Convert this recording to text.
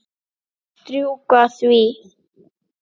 Strjúka því.